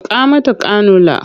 Saka mata kanula!